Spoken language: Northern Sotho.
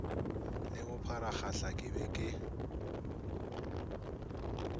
le bopharagahla ke be ke